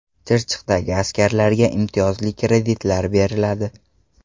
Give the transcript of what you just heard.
Chirchiqdagi askarlarga imtiyozli kreditlar beriladi.